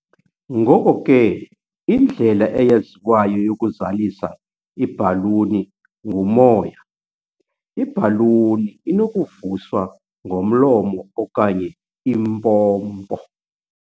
Ngoko ke, indlela eyaziwayo yokuzalisa ibhaluni ngumoya, ibhaluni inokuvuswa ngomlomo okanye impompo.